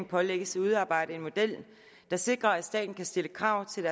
pålægges at udarbejde en model der sikrer at staten kan stille krav til